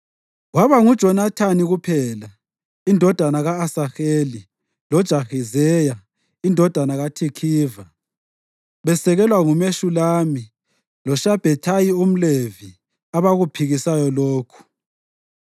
Kwaba nguJonathani kuphela, indodana ka-Asaheli loJahizeya indodana kaThikhiva, besekelwa nguMeshulami loShabhethayi umLevi abakuphikisayo lokhu.